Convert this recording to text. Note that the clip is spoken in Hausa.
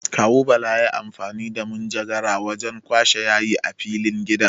Kawu Bala yayi amfani da manjagara wajen kwashe yayin a filin gidan.